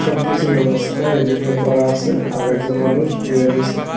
সব কিছুর ব্যবস্থা এদিকে করা আসে আর একজন মানুষ বইয়া রইসে।